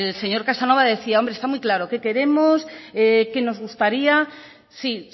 señor casanova decía hombre está muy claro qué queremos qué nos gustaría sí